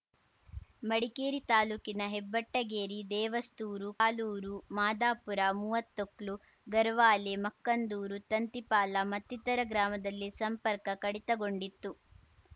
ಮಡಿಕೇರಿ ತಾಲೂಕಿನ ಹೆಬ್ಬಟ್ಟಗೇರಿ ದೇವಸ್ತೂರು ಕಾಲೂರು ಮಾದಾಪುರ ಮೂವ್ವತ್ತೊಕ್ಲು ಗರ್ವಾಲೆ ಮಕ್ಕಂದೂರು ತಂತಿಪಾಲ ಮತ್ತಿತರ ಗ್ರಾಮದಲ್ಲಿ ಸಂಪರ್ಕ ಕಡಿತಗೊಂಡಿತ್ತು